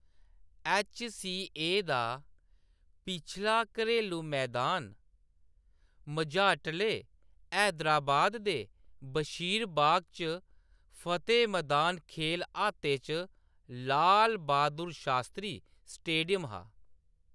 H . C . A . दा पिछला घरेलू मैदान मझाटले हैदराबाद दे बशीरबाग च फतेह मदान खेल अहाते च लाल बहादुर शास्त्री स्टेडियम हा।